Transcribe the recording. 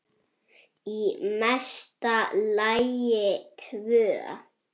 Í mesta lagi tvö.